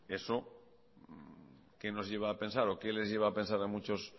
eso qué nos lleva a pensar o qué les lleva a pensar a muchos